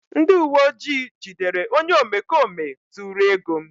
ndị uwe ojii jidere onye omekome zuru ego m